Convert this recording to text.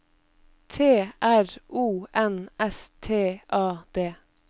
T R O N S T A D